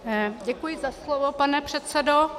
Děkuji za slovo, pane předsedo.